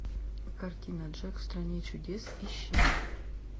картина джек в стране чудес ищи